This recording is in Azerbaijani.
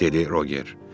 dedi Roger.